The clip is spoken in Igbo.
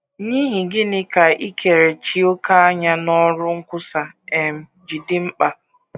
N’ihi gịnị ka ikerechi òkè anya n’ọrụ nkwusa um ji dị mkpa?